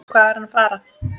Hvað er hann að fara?